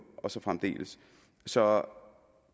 og så fremdeles så